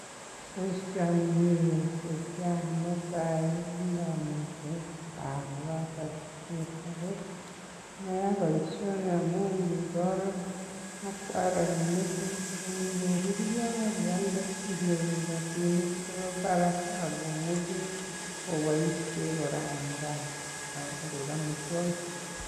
Boisioni mi yu ko kiiayai neta kinomiten gaa kogatar sugul. Ago maya boisioni amun ingi mbarenichu ak ngoruryo ak ialde inyoru rabinik chebo barak agomuchi oboishen kora en gaa koik amitwogik.